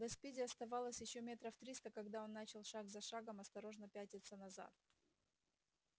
до спиди оставалось ещё метров триста когда он начал шаг за шагом осторожно пятиться назад